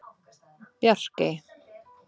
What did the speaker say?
Bjarkey